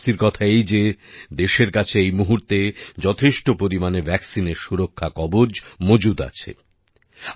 যদিও স্বস্তির কথা এই যে দেশের কাছে এই মুহূর্তে যথেষ্ট পরিমাণে ভ্যাকসিনের সুরক্ষা কবচ মজুত আছে